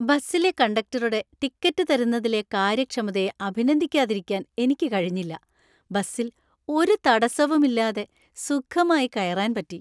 ബസ്സിലെ കണ്ടക്ടറുടെ ടിക്കറ്റ് തരുന്നതിലെ കാര്യക്ഷമതയെ അഭിനന്ദിക്കാതിരിക്കാൻ എനിക്ക് കഴിഞ്ഞില്ല. ബസിൽ ഒരു തടസ്സവുമില്ലാതെ സുഖമായി കയറാൻ പറ്റി.